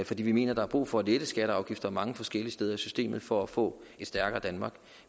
fordi vi mener der er brug for at lette skatter og afgifter mange forskellige steder i systemet for at få et stærkere danmark